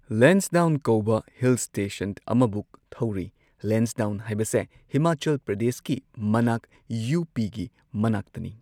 ꯂꯦꯟꯁꯗꯥꯎꯟ ꯀꯧꯕ hill station ꯑꯃꯕꯨꯛ ꯊꯧꯔꯨꯏ ꯂꯦꯟꯁꯗꯥꯎꯟ ꯍꯥꯏꯕꯁꯦ ꯍꯤꯃꯥꯆꯜ ꯄ꯭ꯔꯗꯦꯁꯀꯤ ꯃꯅꯥꯛ ꯌꯨ ꯄꯤꯒꯤ ꯃꯅꯥꯛꯇꯅꯤ꯫